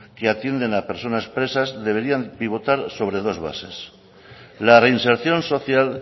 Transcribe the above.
que atienden a personas presas deberían pivotar sobre dos bases la reinserción social